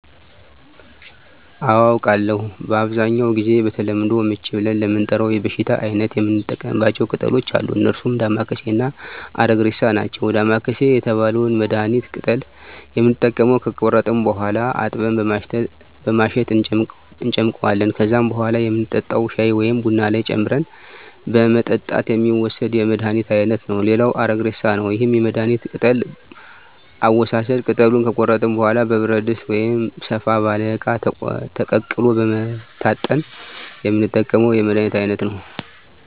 አዎ አውቃለሁ በአብዛኛው ጊዜ በተለምዶ ምች ብለን ለምንጠራው የበሽታ አይነት የምንጠቀማቸው ቅጠሎች አሉ እነርሱም ዳማከሴ እና አረግሬሳ ናቸው ዳማከሴ የተባለውን የመድሀኒት ቅጠል የምንጠቀመው ከቆረጥን በኋላ አጥበን በማሸት እንጨምቀዋለን ከዛም በኋላ የምንጠጣው ሻይ ወይም ቡና ላይ ጨምረን በመጠጣት የሚወሰድ የመድሀኒት አይነት ነው ሌላው አረግሬሳ ነው ይህም የመድሀኒት ቅጠል አወሳሰድ ቅጠሉን ከቆረጥን በኋላ በብረት ድስት ወይም ሰፋ ባለ እቃ ተቀቅሎ በመታጠን የምንጠቀመው የመድሀኒት አይነት ነው